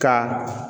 Ka